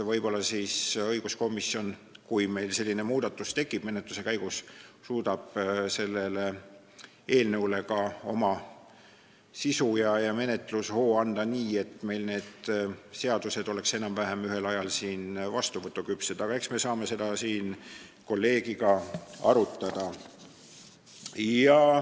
Võib-olla õiguskomisjon, kui meil selline muudatus menetluse käigus tekib, suudab sellele eelnõule ka oma sisu ja menetlushoo anda nii, et need seadused oleksid enam-vähem ühel ajal siin vastuvõtuküpsed, aga eks me saame seda siin kolleegiga arutada.